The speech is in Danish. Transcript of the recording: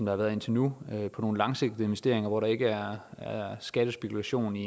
har været indtil nu på nogle langsigtede investeringer hvor der ikke er skattespekulation i